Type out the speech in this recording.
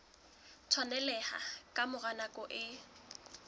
tshwaneleha ka mora nako e